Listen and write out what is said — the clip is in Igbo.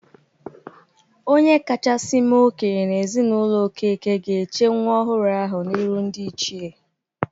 Onye kachasị mee okenye n'ezinaụlọ Okeke ga-eche nwa ọhụrụ ahụ n'iru ndị ichee